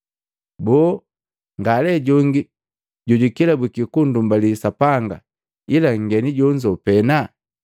Boo, nga lee jongi jojukelabwiki ku ndumbali Sapanga ila nngeni jonzo pena?”